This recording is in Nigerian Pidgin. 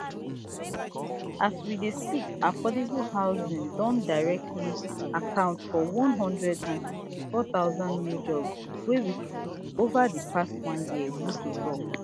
as we dey speak affordable housing don directly account for one hundred and sixty-four thousand new jobs wey we create ova di past one year ruto tok